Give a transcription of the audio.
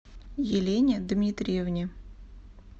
елене дмитриевне